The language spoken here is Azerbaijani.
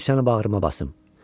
Qoy səni bağrıma basım.